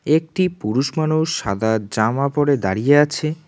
একটি পুরুষ মানুষ সাদা জামা পড়ে দাঁড়িয়ে আছে।